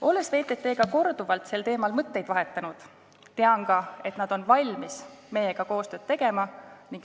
Olles VTT-ga korduvalt sel teemal mõtteid vahetanud, tean ka, et nad on valmis meiega koostööd tegema.